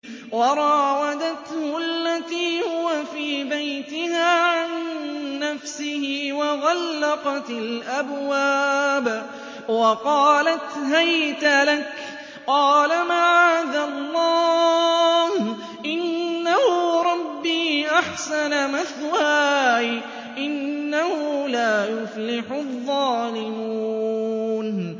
وَرَاوَدَتْهُ الَّتِي هُوَ فِي بَيْتِهَا عَن نَّفْسِهِ وَغَلَّقَتِ الْأَبْوَابَ وَقَالَتْ هَيْتَ لَكَ ۚ قَالَ مَعَاذَ اللَّهِ ۖ إِنَّهُ رَبِّي أَحْسَنَ مَثْوَايَ ۖ إِنَّهُ لَا يُفْلِحُ الظَّالِمُونَ